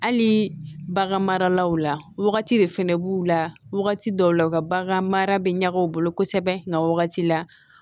Hali bagan maralaw la wagati de fɛnɛ b'u la wagati dɔw la u ka bagan mara bɛ ɲagami u bolo kosɛbɛ nka wagati la